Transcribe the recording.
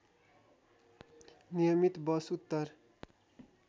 नियमित बस उत्तर